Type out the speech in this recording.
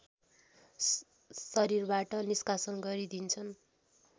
शरीरबाट निष्कासन गरिदिन्छन्